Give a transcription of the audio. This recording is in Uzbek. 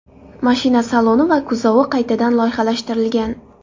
Mashina saloni va kuzovi qaytadan loyihalashtirilgan.